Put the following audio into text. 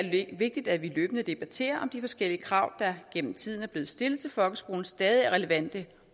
vigtigt at vi løbende debatterer om de forskellige krav der gennem tiden er blevet stillet til folkeskolen stadig er relevante